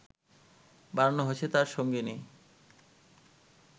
বানানো হয়েছে তার সঙ্গিনী